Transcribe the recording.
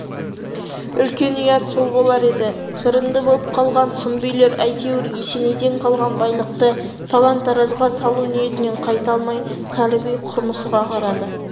үлкен ұят сол болар еді жырынды болып қалған сұм билер әйтеуір есенейден қалған байлықты талан-таражға салу ниетінен қайта алмай кәрі би құрмысыға қарады